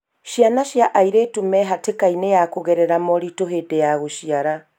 Ciana cia airĩtu mehatĩkainĩ ya kũgerera moritũ hĩndĩ ya gũciara.